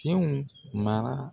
Kunun mara